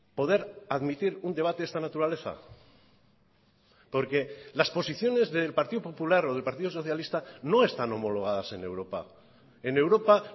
poder admitir un debate de esta naturaleza porque las posiciones del partido popular o del partido socialista no están homologadas en europa en europa